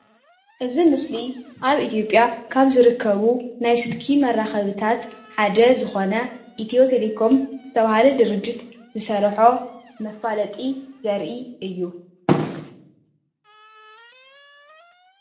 እዚ ምስሊ ኣብ ኢትዮጵያ ካብ ዝርከቡ ናይ ስልኪ መራኸቢታት ሓደ ዝኮነ ኢትዮ ቴሌኮም ዝተበሃለ ድርጅት ዝሰረሖ መፋለጢ ዘርኢ እዩ።